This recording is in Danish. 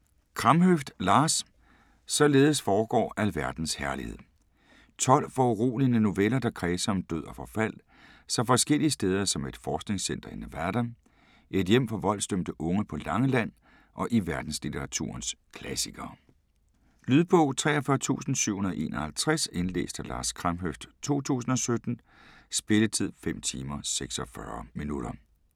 Kramhøft, Lars: Således forgår alverdens herlighed 12 foruroligende noveller, der kredser om død og forfald så forskellige steder som et forskningscenter i Nevada, et hjem for voldsdømte unge på Langeland og i verdenslitteraturens klassikere. Lydbog 43751 Indlæst af Lars Kramhøft, 2017. Spilletid: 5 timer, 46 minutter.